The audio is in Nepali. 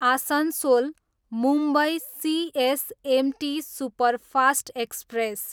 Asansol, Mumbai CSMT superfast express